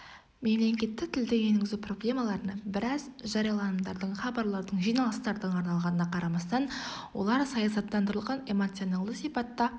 мемлекеттік тілді енгізу проблемаларына біраз жарияланымдардың хабарлардың жиналыстардың арналғанына қарамастан олар саясаттандырылған эмоционалды сипатта